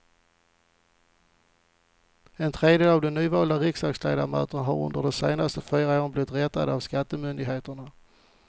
En tredjedel av de nyvalda riksdagsledamöterna har under de senaste fyra åren blivit rättade av skattemyndigheterna.